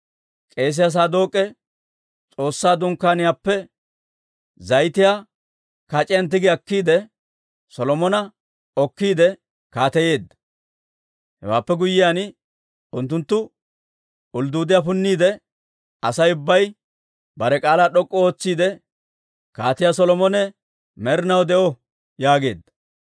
K'eesiyaa Saadook'e S'oossaa Dunkkaaniyaappe zayitiyaa kac'iyaan tigi akkiide, Solomona okkiide kaateyeedda. Hewaappe guyyiyaan unttunttu uluduuddiyaa punnina, Asay ubbay bare k'aalaa d'ok'k'u ootsiide, «Kaatiyaa Solomone med'inaw de'o!» yaageedda.